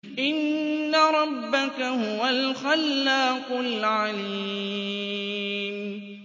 إِنَّ رَبَّكَ هُوَ الْخَلَّاقُ الْعَلِيمُ